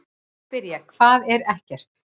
Þá spyr ég: HVAÐ ER EKKERT?